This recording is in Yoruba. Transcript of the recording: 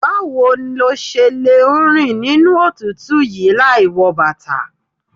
Báwo lo ṣe lẹ ń rìn nínú òtútù yí láì wọ bàtà.